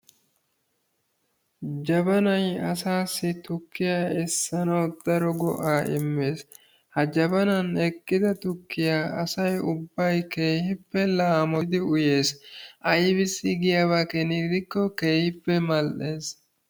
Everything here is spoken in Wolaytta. Jabanaay asaasi tukkiyaa essanawu daro go"aa immees. Ha jabanaana eqqida tukkiyaa asay ubbay keehippe laamotan uyees. Aysi giyaaba keena gidikko keehippe mal"ees.